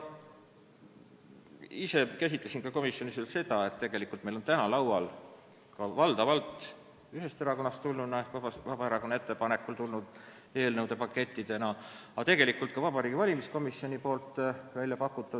Ise ma käsitlesin komisjonis veel seda, et tegelikult on meil täna laual valdavalt ühest erakonnast ehk Vabaerakonnast tulnud eelnõude pakettidena ettepanekud valimisringkondade suuruse kohta.